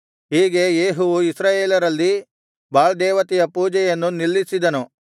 ಹೀಗೆ ಯೇಹುವು ಇಸ್ರಾಯೇಲರಲ್ಲಿ ಬಾಳ್ ದೇವತೆಯ ಪೂಜೆಯನ್ನು ನಿಲ್ಲಿಸಿದನು